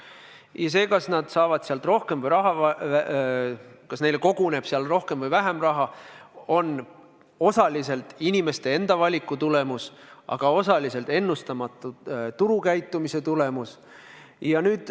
Ja see, kas nad saavad sealt või kas neile koguneb seal rohkem või vähem raha, on ka osaliselt inimeste enda valiku tulemus, aga osaliselt ennustamatu turukäitumise tulemus.